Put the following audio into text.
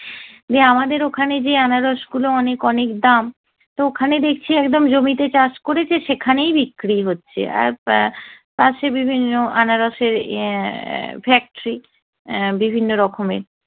যে আমাদের ওখানে যে আনারস গুলো অনেক অনেক দাম, তো ওখানে দেখছি একদম জমিতে চাষ করেছে সেখানেই বিক্রি হচ্ছে। আর পাশে বিভিন্ন আনারসের ইয়ে factory বিভিন্ন রকমের